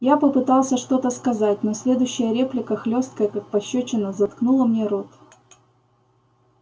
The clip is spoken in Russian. я попытался что-то сказать но следующая реплика хлёсткая как пощёчина заткнула мне рот